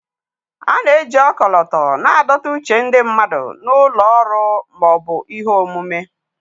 A na-eji ọkọlọtọ na-adọta uche ndị mmadụ na ụlọ ọrụ ma ọ bụ ihe omume.